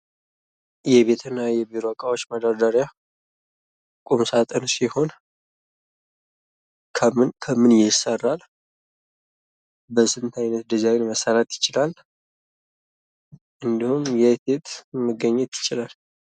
የቤት እና የቢሮ እቃዎች መደርደሪያ ቁምሳጥን ሲሆን ከምን ከምን ይሰራል? በስንት አይነት ዲዛይን መሠራት ይችላል? እንዲሁም የት የት መገኘት ይችላል?